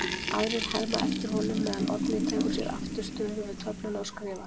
Aðrir herma eftir honum meðan Oddný tekur sér aftur stöðu við töfluna og skrifar